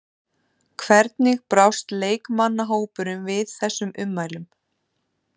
Hvernig brást leikmannahópurinn við þessum ummælum?